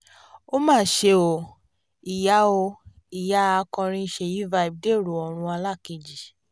ó mà ṣe o ìyá o ìyá akọrin sèyí vibe dẹ̀rọ ọ̀run alákeji